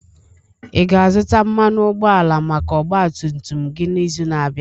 Ị ga-azụta mmanụ ụgbọala maka ọgba tum tum gị n'izu na-abịa?